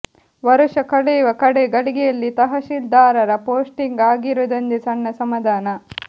ವರುಷ ಕಳೆಯುವ ಕಡೇ ಗಳಿಗೆಯಲ್ಲಿ ತಹಶೀಲ್ದಾರರ ಪೋಸ್ಟಿಂಗ್ ಆಗಿರುವುದೊಂದೇ ಸಣ್ಣ ಸಮಾಧಾನ